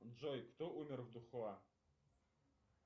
джой кто умер в дахуа